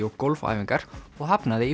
og gólfæfingar og hafnaði í